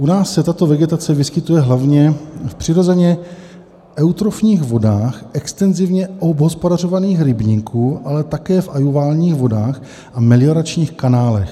U nás se tato vegetace vyskytuje hlavně v přirozeně eutrofních vodách extenzivně obhospodařovaných rybníků, ale také v aluviálních vodách a melioračních kanálech.